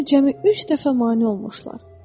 mənə cəmi üç dəfə mane olmuşlar.